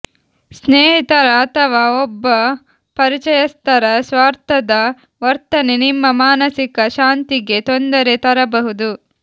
ಸ್ನೇಹಿತರ ಅಥವಾ ಒಬ್ಬ ಪರಿಚಯಸ್ಥರ ಸ್ವಾರ್ಥದ ವರ್ತನೆ ನಿಮ್ಮ ಮಾನಸಿಕ ಶಾಂತಿಗೆ ತೊಂದರೆ ತರಬಹುದು